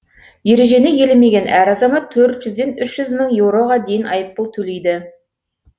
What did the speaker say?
ережені елемеген әр азамат төрт жүзден үш мың еуроға дейін айыппұл төлейді